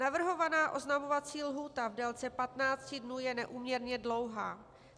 Navrhovaná oznamovací lhůta v délce 15 dnů je neúměrně dlouhá.